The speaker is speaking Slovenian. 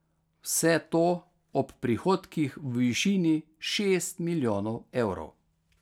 Vse to ob prihodkih v višini šest milijonov evrov.